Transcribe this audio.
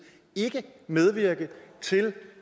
ikke medvirke til